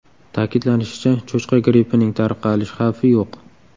Ta’kidlanishicha, cho‘chqa grippining tarqalish xavfi yo‘q.